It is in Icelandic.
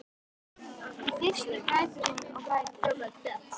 Í fyrstu grætur hún og grætur.